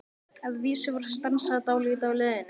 Að vísu var stansað dálítið á leiðinni.